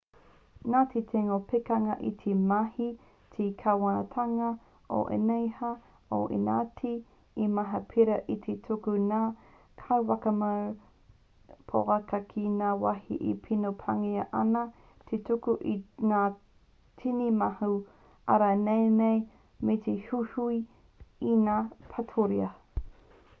nā te tino pikinga i te mahi te kāwanatanga o īnia i ētahi mahi pērā i te tuku i ngā kaiwhakamau poaka ki ngā wāhi e tino pāngia ana te tuku i ngā tini mano ārai naenae me te uwhiuwhi i ngā paturiha